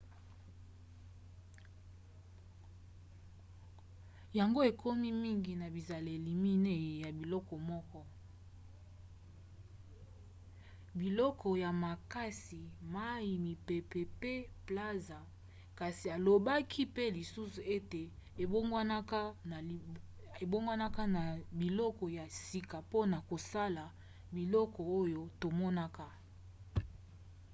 yango ekokani mingi na bizaleli minei ya biloko na molongo moko: biloko ya makasi mai mipepe pe plazma kasi alobaki pe lisusu ete ebongwanaka na biloko ya sika mpona kosala biloko oyo tomonaka